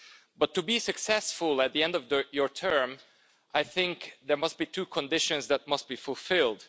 But to be successful at the end of your term, I think there must be two conditions that must be fulfilled.